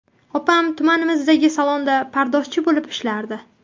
Opam tumanimizdagi salonda pardozchi bo‘lib ishlardi.